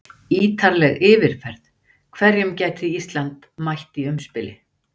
Ítarleg yfirferð: Hverjum gæti Ísland mætt í umspili?